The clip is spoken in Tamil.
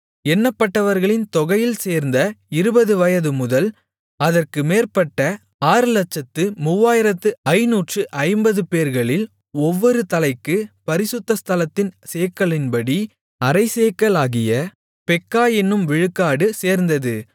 எண்ணப்பட்டவர்களின் தொகையில் சேர்ந்த இருபது வயதுமுதல் அதற்கு மேற்பட்ட ஆறுலட்சத்து மூவாயிரத்து ஐந்நூற்று ஐம்பதுபேர்களில் ஒவ்வொரு தலைக்கு பரிசுத்த ஸ்தலத்தின் சேக்கலின்படி அரைச்சேக்கலாகிய பெக்கா என்னும் விழுக்காடு சேர்ந்தது